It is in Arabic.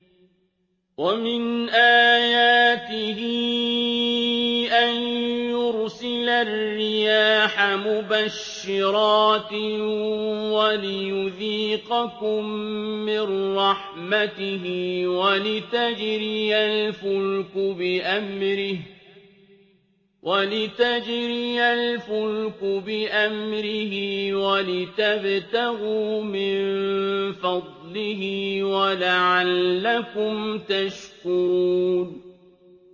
وَمِنْ آيَاتِهِ أَن يُرْسِلَ الرِّيَاحَ مُبَشِّرَاتٍ وَلِيُذِيقَكُم مِّن رَّحْمَتِهِ وَلِتَجْرِيَ الْفُلْكُ بِأَمْرِهِ وَلِتَبْتَغُوا مِن فَضْلِهِ وَلَعَلَّكُمْ تَشْكُرُونَ